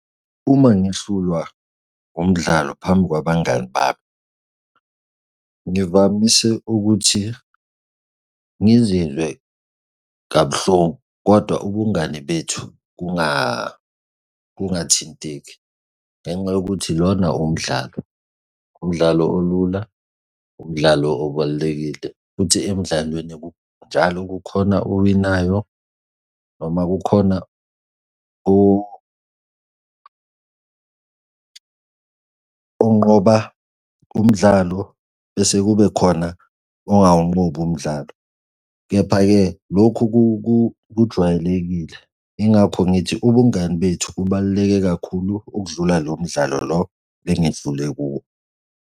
Uma ngihlulwa umdlalo phambi kwabangani bami ngivamise ukuthi ngizizwe kabuhlungu, kodwa ubungani bethu kungathinteki, ngenxa yokuthi lona umdlalo, umdlalo olula umdlalo obalulekile futhi emdlalweni njalo kukhona owinayo noma kukhona onqoba umdlalo bese kube khona ongawunqobi umdlalo. Kepha-ke lokhu kujwayelekile. Yingakho ngithi ubungani bethu bubaluleke kakhulu okudlula lo mdlalo lo engidlule kuwo.